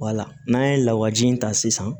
n'an ye lawaji in ta sisan